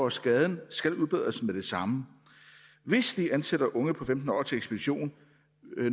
at skaden skal udbedres med det samme hvis de ansætter unge på femten år til ekspedition